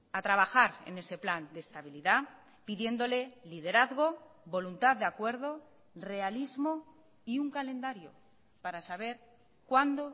a trabajar en ese plan de estabilidad pidiéndole liderazgo voluntad de acuerdo realismo y un calendario para saber cuándo